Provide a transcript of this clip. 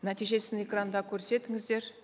нәтижесін экранда көрсетіңіздер